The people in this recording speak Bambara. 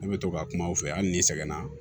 Ne bɛ to ka kuma aw fɛ hali ni sɛgɛnna